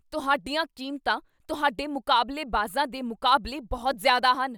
ਤੁਹਾਡੀਆਂ ਕੀਮਤਾਂ ਤੁਹਾਡੇ ਮੁਕਾਬਲੇਬਾਜ਼ਾਂ ਦੇ ਮੁਕਾਬਲੇ ਬਹੁਤ ਜ਼ਿਆਦਾ ਹਨ।